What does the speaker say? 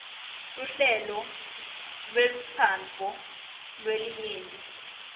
luhlelo lwentsandvo yelinyenti